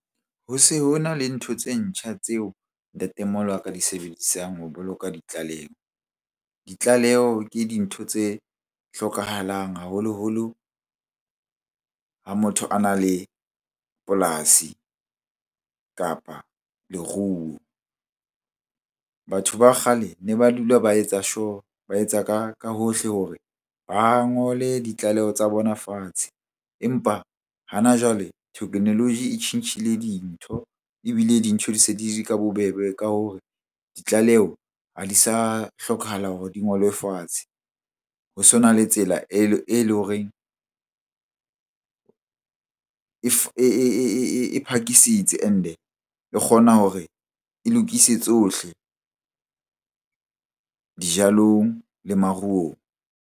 Ho se ho na le ntho tse ntjha tseo ntatemoholo wa ka a di sebedisang ho boloka ditlaleho. Ditlaleho ke dintho tse hlokahalang haholoholo ha motho a na le polasi, kapa leruo. Batho ba kgale ne ba dula ba etsa sure, ba etsa ka hohle hore ba ngole ditlaleho tsa bona fatshe. Empa hana jwale technology e tjhentjhile dintho ebile dintho di se ka bobebe ka hore ditlaleho ha di sa hlokahala hore di ngolwe fatshe. Ho sona le tsela e leng horeng e phakisitse and-e e kgona hore e lokise tsohle dijalong le maruong.